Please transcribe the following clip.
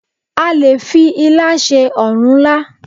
A lè fi ilá ṣe ọ̀rúnlá